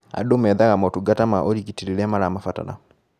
Andũ methaga motungata ma ũrigiti rĩrĩa mamabatara